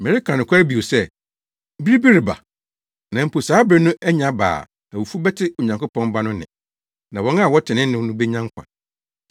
Mereka nokware bio sɛ, bere bi reba, na mpo saa bere no anya aba a awufo bɛte Onyankopɔn Ba no nne, na wɔn a wɔte ne nne no benya nkwa.